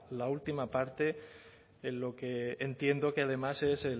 la última parte en lo que entiendo que además es